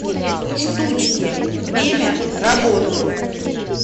штучки время работы